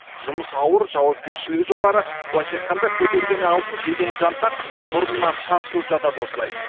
жұмыс ауыр жауапкершілігі жоғары былайша айтқанда көтергені алтын жегені жантақ мұрнынан шаншылып жатады осылай